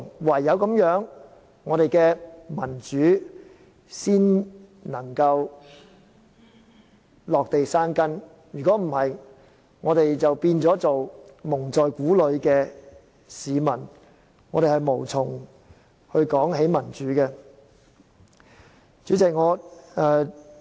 唯有如此，我們的民主才能落地生根，否則我們只會一直被蒙在鼓裏，無從談論民主了。